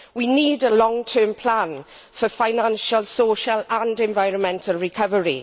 We need a long term plan for financial, social and environmental recovery.